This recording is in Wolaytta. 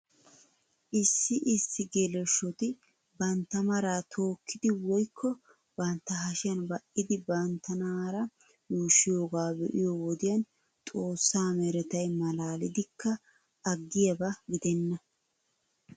Issi issi geleshoti bantta maraa tookkidi woykko bantta hashiyan ba'idi banttanaara yuushshiyoogaa be'iyoo wodiyan xoossa meretay malaalidikka aggiyaaba gidenna .